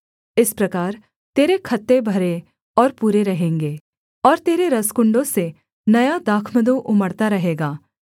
इस प्रकार तेरे खत्ते भरे और पूरे रहेंगे और तेरे रसकुण्डों से नया दाखमधु उमड़ता रहेगा